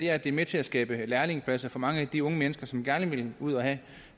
at det er med til at skabe lærlingepladser for mange af de unge mennesker som gerne vil ud og have